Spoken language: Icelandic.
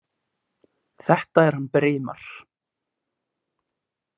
Þetta er hann Brimar.